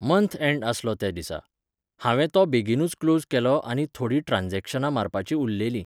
Month end आसलो त्या दिसा. हांवें तो बेगीनूच क्लोज केलो आनी थोडीं ट्रान्जॅक्शनां मारपाचीं उरलेलीं.